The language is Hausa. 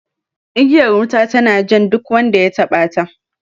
Igiyar wuta tana jan duk wanda ya taɓa ta